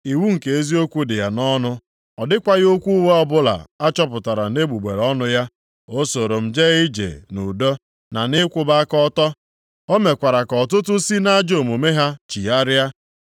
Iwu nke eziokwu dị ya nʼọnụ, ọ dịkwaghị okwu ụgha ọbụla a chọpụtara nʼegbugbere ọnụ ya. O soro m jee ije nʼudo, na nʼịkwụba aka ọtọ. O mekwara ka ọtụtụ si nʼajọ omume ha chigharịa.